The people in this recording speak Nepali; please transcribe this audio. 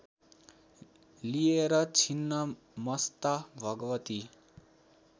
लिएर छिन्नमस्ता भगवती